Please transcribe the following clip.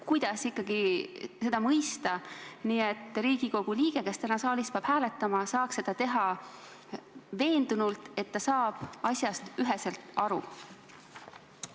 Kuidas neid väljendeid mõista, et Riigikogu liige, kes täna saalis peab hääletama, saaks seda teha veendunult, et ta saab asjast üheselt aru?